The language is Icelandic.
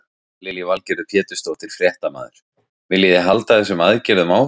Lillý Valgerður Pétursdóttir, fréttamaður: Viljið þið halda þessum aðgerðum áfram?